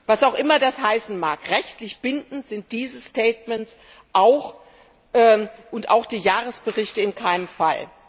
Was auch immer das heißen mag rechtlich bindend sind diese Statements und auch die Jahresberichte in keinem Fall.